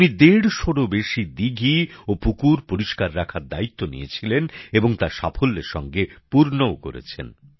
উনি দেড়শোরও বেশী দিঘি ও পুকুর পরিষ্কার রাখার দায়িত্ব নিয়েছিলেন এবং তা সাফল্যের সঙ্গে পূর্ণও করেছেন